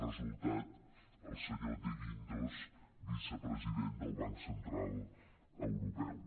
resultat el senyor de guindos vicepresident del banc central europeu